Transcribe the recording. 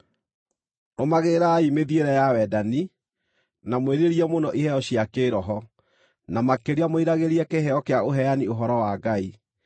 Rũmagĩrĩrai mĩthiĩre ya wendani, na mwĩrirĩrie mũno iheo cia kĩĩroho, na makĩria mwĩriragĩrie kĩheo kĩa ũheani ũhoro wa Ngai.